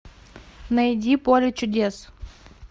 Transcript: найди поле чудес